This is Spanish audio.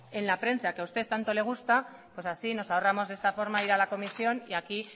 en la prensa que a usted tanto le gusta pues así nos ahorramos de esta forma ir a la comisión y aquí